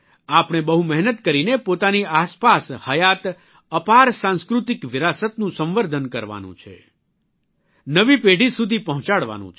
આપણે બહુ મહેનત કરીને પોતાની આસપાસ હયાત અપાર સાંસ્કૃતિક વિરાસતનું સંવર્ધન કરવાનું છે નવી પેઢી સુધી પહોંચાડવાનું છે